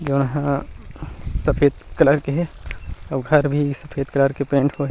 सफ़ेद कलर के हे अउ घर भी सफ़ेद कलर के पेंट होये हे।